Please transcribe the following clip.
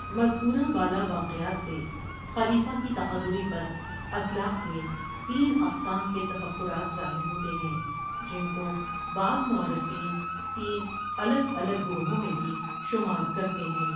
مذکورہ بالا واقعات سے خلیفہ کی تقرری پر اسلاف میں تین اقسام کے تفکرات ظاہر ہوتے ہیں جن کو بعض مورخین تین الگ الگ گروہوں میں بھی شمار کرتے ہیں ۔